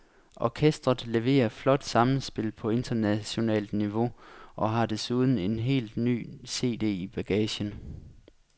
Orkestret leverer flot sammenspil på internationalt niveau og har desuden en helt ny cd i bagagen.